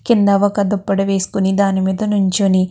కింద ఒక దుప్పటి వేసుకుని దాని మీద నించుని --